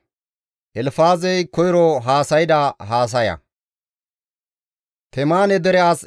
Temaane dere as Elfaazey hizgi zaarides;